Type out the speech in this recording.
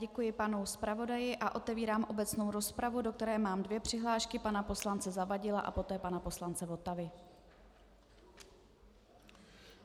Děkuji panu zpravodaji a otevírám obecnou rozpravu, do které mám dvě přihlášky - pana poslance Zavadila a poté pana poslance Votavy.